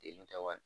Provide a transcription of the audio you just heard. Den tɛ wali